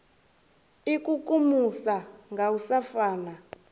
ikukumusa nga u sa fana